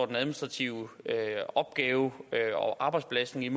den administrative opgave og arbejdsbelastning